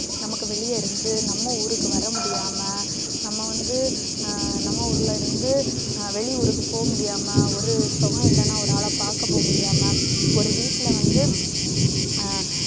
நமக்கு வெளிய இருந்து நம்ம ஊருக்கு வர முடியாம, நம்ம வந்து நம்ம ஊர்ல இருந்து வெளியூருக்குப் போக முடியாம, ஒரு சனம் இல்லனா ஒரு ஆள பாக்க போக முடியாம, ஒரு வீட்டுல வந்து ஆஹ்